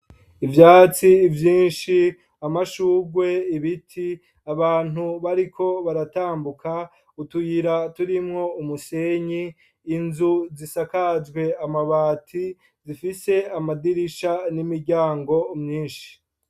Ivyatsi vyinshi, amashugwe, ibiti, abantu bariko baratambuka, utuyira turimwo umusenyi, inzu zisakajwe amabati zifise amadirisha n'imiryango myinshi.